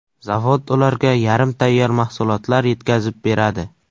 Zavod ularga yarim tayyor mahsulotlar yetkazib beradi.